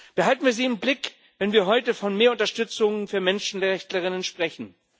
Behalten wir sie im Blick, wenn wir heute von mehr Unterstützung für Menschenrechtlerinnen sprechen.